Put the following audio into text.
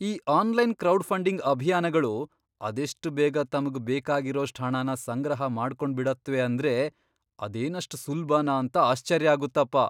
ಈ online crowdfunding ಅಭಿಯಾನ್ಗಳು ಅದೆಷ್ಟ್ ಬೇಗ ತಮ್ಗ್ ಬೇಕಾಗಿರೋಷ್ಟ್ ಹಣನ ಸಂಗ್ರಹ ಮಾಡ್ಕೊಂಡ್ಬಿಡತ್ವೆ ಅಂದ್ರೆ ಅದೇನಷ್ಟ್ ಸುಲ್ಭನಾ ಅಂತ ಆಶ್ಚರ್ಯ ಆಗುತ್ತಪ.